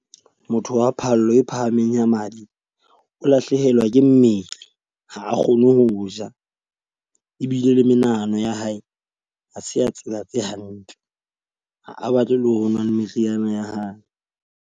Motho wa phallo e phahameng ya madi, o lahlehelwa ke mmele ha a kgone ho ja. Ebile le menahano ya hae a se a tsela tse hantle ha batle le ho nwa meriana ya hae.